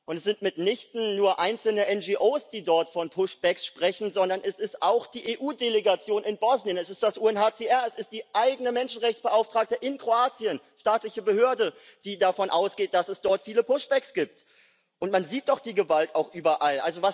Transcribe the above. Es sind mitnichten nur einzelne NGOs, die dort von sprechen, sondern es ist auch die EU Delegation in Bosnien, es ist das UNHCR, es ist Ihr eigener Menschenrechtsbeauftragter in Kroatien, eine staatliche Behörde, die davon ausgeht, dass es dort viele gibt. Man sieht doch die Gewalt auch überall.